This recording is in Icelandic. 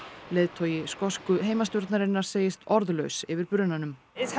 leiðtogi skosku heimastjórnarinnar segist orðlaus yfir brunanum